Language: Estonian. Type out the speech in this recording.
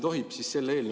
Hea minister!